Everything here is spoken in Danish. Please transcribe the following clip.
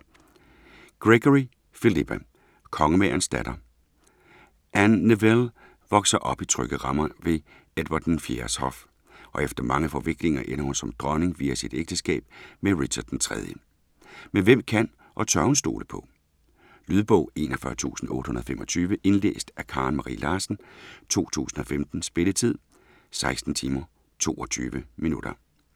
Gregory, Philippa: Kongemagerens datter Anne Neville vokser op i trygge rammer ved Edvard IV's hof, og efter mange forviklinger ender hun som dronning via sit ægteskab med Richard III, men hvem kan og tør hun stole på? Lydbog 41825 Indlæst af Karen Marie Larsen, 2015. Spilletid: 16 timer, 22 minutter.